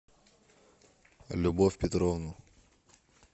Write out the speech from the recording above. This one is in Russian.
любовь петровну